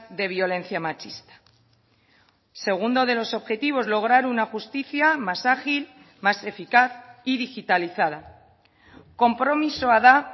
de violencia machista segundo de los objetivos lograr una justicia más ágil más eficaz y digitalizada konpromisoa da